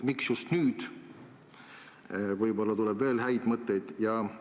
Miks just nüüd, kui võib-olla tuleb veel häid mõtteid?